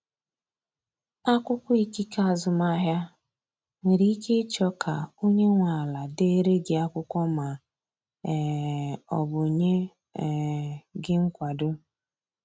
Akwụkwọ ikike azụmahịa, nwere ike ịchọ ka onye nwe ala dere gị akwụkwọ ma um ọ bụ nye um gị nkwado.